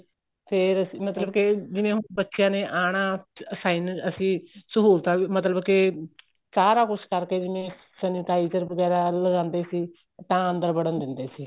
ਫ਼ੇਰ ਮਤਲਬ ਕੇ ਜਿਵੇਂ ਹੁਣ ਬੱਚਿਆ ਨੇ ਆਨਾ assign ਅਸੀਂ ਸਹੂਲਤਾਂ ਮਤਲਬ ਕੇ ਸਾਰਾ ਕੁੱਛ ਕਰਕੇ ਜਿਵੇਂ sanitizer ਵਗੈਰਾ ਲਗਾਦੇ ਸੀ ਤਾਂ ਅੰਦਰ ਵੜਨ ਦਿੰਦੇ ਸੀ